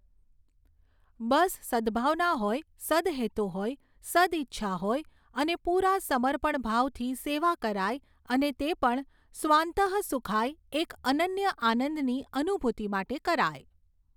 બસ સદ્ભાવના હોય, સદ્હેતુ હોય, સદ્ઇચ્છા હોય અને પૂરા સમર્પણભાવથી સેવા કરાય અને તે પણ સ્વાંતઃ સુખાય, એક અનન્ય આનંદની અનુભૂતિ માટે કરાય.